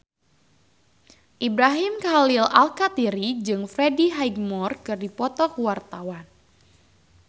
Ibrahim Khalil Alkatiri jeung Freddie Highmore keur dipoto ku wartawan